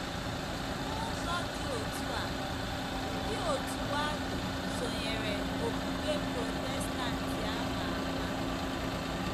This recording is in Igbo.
N’ụzọ dị otú a, ndị òtù Waldo sonyeere okpukpe Protestantị a ma ama.